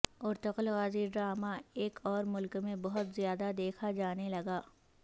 Ertugrul Ghazi drama ایک اور ملک میں بہت زیادہ دیکھا جانے لگا